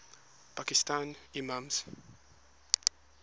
pakistani imams